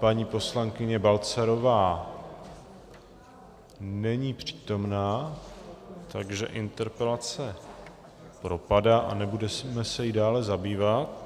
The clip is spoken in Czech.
Paní poslankyně Balcarová není přítomna, takže interpelace propadá a nebudeme se jí dále zabývat.